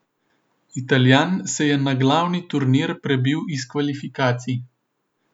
Italijan se je na glavni turnir prebil iz kvalifikacij.